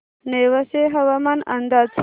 नेवासे हवामान अंदाज